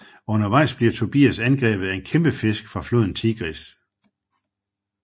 Undervejs bliver Tobias angrebet af en kæmpefisk fra floden Tigris